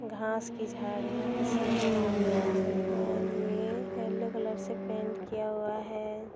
घांस की झड़ियां कुछ नज़र आ रही हैं और ये येलो कलर से पेंट किया हुआ है।